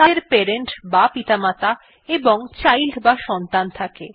তাদের প্যারেন্ট বা পিতামাতা এবং চাইল্ড বা সন্তান থাকে